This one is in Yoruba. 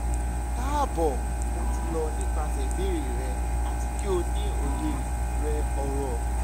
kaabo mo ti lọ nipasẹ ibeere rẹ ati ki o ni oye rẹ oro